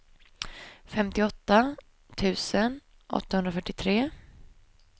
femtioåtta tusen åttahundrafyrtiotre